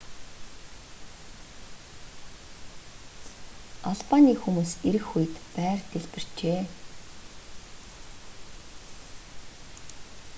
албаны хүмүүс ирэх үед байр дэлбэрчээ